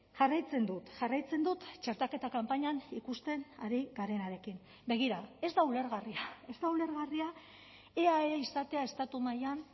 jarraitzen dut jarraitzen dut txertaketa kanpainan ikusten ari garenarekin begira ez da ulergarria ez da ulergarria eae izatea estatu mailan